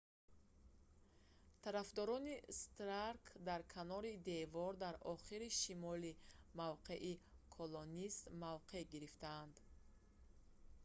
тарафдорони старк дар канори девор дар охири шимоли мавқеи колонист мавқеъ гирифтанд